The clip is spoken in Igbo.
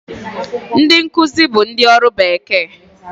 Ndị nkuzi bụ ndị ọrụ bekee